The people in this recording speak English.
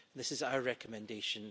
This is our recommendation.